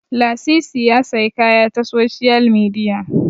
Lasisi ya sayi kaya ta soshiyal midiya